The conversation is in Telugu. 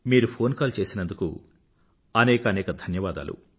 మీరు ఫోన్ కాల్ చేసినందుకు అనేకానేక ధన్యవాదాలు